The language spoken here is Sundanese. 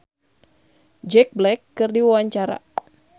Kaka Slank olohok ningali Jack Black keur diwawancara